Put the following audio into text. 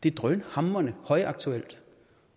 er drønhamrende højaktuelt